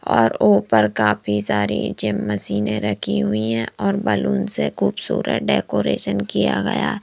और ऊपर काफी सारी जिम मशीनें रखी हुई हैं और बैलून से खूबसूरत डेकोरेशन किया गया है।